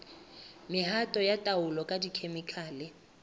mehato ya taolo ka dikhemikhale